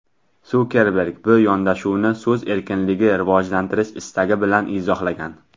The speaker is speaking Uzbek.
Sukerberg bu yondashuvni so‘z erkinligini rivojlantirish istagi bilan izohlagan.